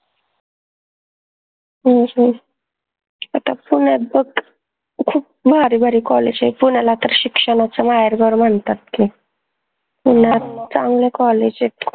अह अच्छा पुन्यात त खूप भारी भारी college आहे पुन्याला तर शिक्षणाचं माहेर घर म्हनतात की पुन्यात चांगले college आहेत खूप